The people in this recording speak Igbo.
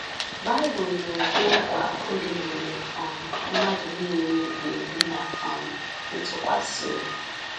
Bible na-ekwe nkwa oge mgbe um mmadụ nile ‘ga-ebi ná um ntụkwasị obi’